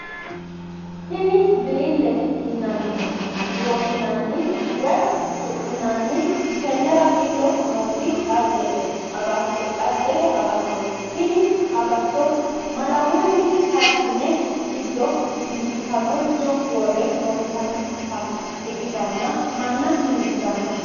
Tini bilire yine woshinanni woyi su'minanni tenera gido nooti xajete agatoti, tini agato malawunni karisii'nse gido dimbisanoricho wore loonsanitta ikkitanna mana dimbisano